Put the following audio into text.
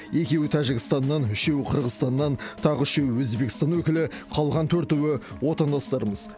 екеуі тәжікстаннан үшеуі қырғызстаннан тағы үшеуі өзбекстан өкілі қалған төртеуі отандастарымыз